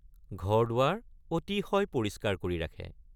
ঘৰদুৱাৰ অতিশয় পৰিষ্কাৰ কৰি ৰাখে।